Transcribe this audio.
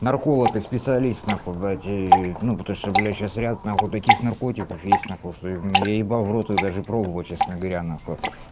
нарколог и специалист нахуй блядь ну потому что блядь сейчас ряд нахуй таких наркотиков есть нахуй что я ебал в рот их даже пробовать честно говоря нахуй